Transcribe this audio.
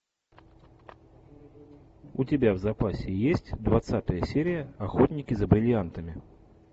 у тебя в запасе есть двадцатая серия охотники за бриллиантами